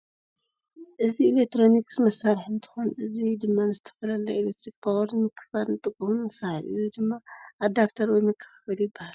እዚ ኤሌክትሮኒክስ መሳርሒ እንትኮን እዚ ድማ ንዝተፈላለዩ ናይ ኣሌክትሪክ ፓወር ንምክፍፋል እንጥቀመሉ መሳርሒ እዩ። እዚ ድማ ኣዳፕተር ወይ መከፋፈሊ ይባሃል።